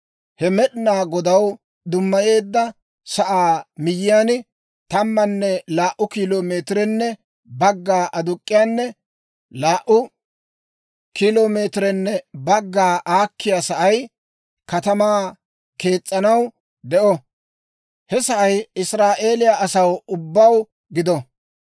«‹ «He Med'inaa Godaw dummayeedda sa'aa miyyiyaan tammanne laa"u kilo meetirenne bagga aduk'k'iyaanne laa"u kilo meetirenne bagga aakkiyaa sa'ay katamaa kees's'anaw de'uwaa; he sa'ay Israa'eeliyaa asaw ubbaw gido.